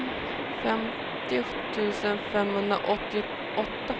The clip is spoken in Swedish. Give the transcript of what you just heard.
femtio tusen femhundraåttioåtta